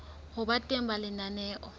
ho ba teng ha lenaneo